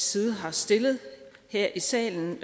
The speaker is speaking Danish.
side har stillet her i salen